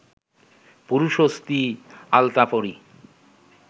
পুরুষ ও স্ত্রী আলতাপরি